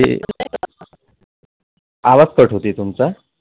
आवाज Cut होतंय तुमचा